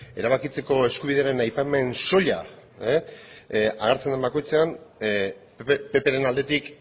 erabakitzeko eskubidearen aipamen soila hartzen den bakoitzean ppren aldetik